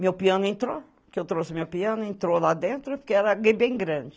Meu piano entrou, que eu trouxe meu piano, entrou lá dentro, porque era bem grande.